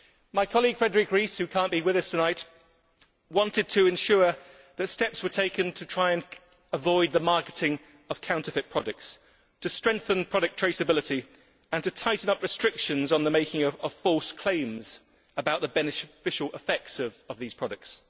My colleague Frédérique Ries, who cannot be with us tonight, wanted to ensure that steps were taken to try and avoid the marketing of counterfeit products, to strengthen product traceability and to tighten up restrictions on the making of false claims about the beneficial effects of these products.